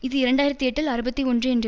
இது இரண்டு ஆயிரத்தி எட்டில் அறுபத்தி ஒன்று என்று